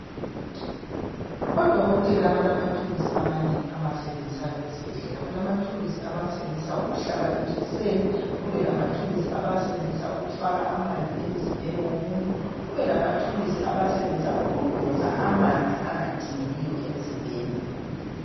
Odokotela balamathuluzu amanengi abawasenzisayo esibhedlela kulamathuluzu abawasebenzisa ukumhlaba ijekiseni kube lamathuluzu abawasebenzisa ukufaka amanzi emzimbeni womuntu kubelamathuluzi abawasebenzisa ukudonsa amanzi angadingekiyo emzimbeni.